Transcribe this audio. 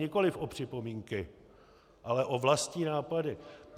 Nikoliv o připomínky, ale o vlastní nápady.